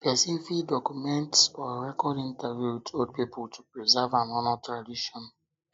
person fit document or record interview with old pipo to um preserve and honor tradition